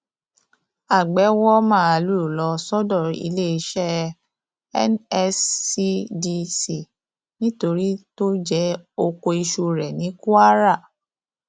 àgbẹ wọ màálùú lọ sọdọ iléeṣẹ nscdc nítorí tó jẹ ọkọ iṣu rẹ ní kwara